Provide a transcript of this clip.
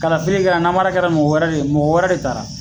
Kalafili kɛra namara kɛra mɔgɔ wɛrɛ de ye, mɔgɔ wɛrɛ de taara